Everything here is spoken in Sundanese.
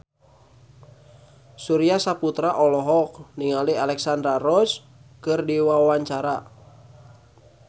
Surya Saputra olohok ningali Alexandra Roach keur diwawancara